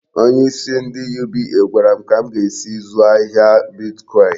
Onyeisi ndị UBA gwara m ka m ga-esi zụọ ahịa bitkọin.